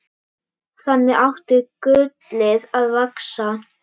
Þannig átti gullið að vaxa.